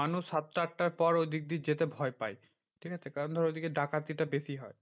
মানুষ সাততা আটটার পর ওদিক দিয়ে যেতে ভয় পায়। ঠিকাছে? কারণ ধর ওদিকে ডাকাতি টা বেশি হয়।